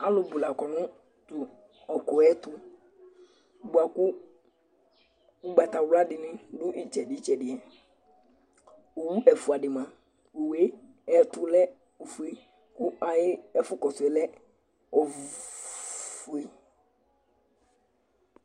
Alu bu la kɔ nu tu ɔkuɛ tu bua ku ugbata wla di ni du itsɛdi tsɛdi yɛ Owu ɛfua di mia owoe ayɛ tu lɛ ofue ku ayi ɛfu kɔ suɛ lɛ ofue